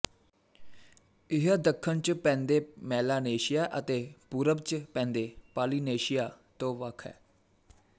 ਇਹ ਦੱਖਣ ਚ ਪੈਂਦੇ ਮੈਲਾਨੇਸ਼ੀਆ ਅਤੇ ਪੂਰਬ ਚ ਪੈਂਦੇ ਪਾਲੀਨੇਸ਼ੀਆ ਤੋਂ ਵੱਖ ਹੈ